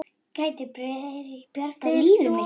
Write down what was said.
Geti byrjað nýtt líf.